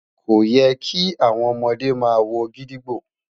ko yẹ ki awọn ọmọde ma wo gídígbò